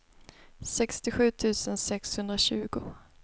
sextiosju tusen sexhundratjugo